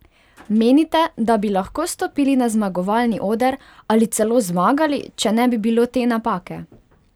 Menite, da bi lahko stopili na zmagovalni oder ali celo zmagali, če ne bi bilo te napake?